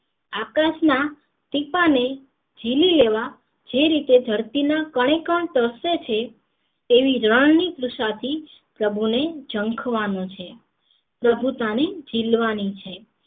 આકાશ ના ટીપા ને ઝીલી લેવા જે રીતે ધરતી ના કણે કણ તરસે છે તેવી રણ ની કુશાચી સવો ને ઝંખવાનું છે પ્રભુતા ને ઝીલવાની છે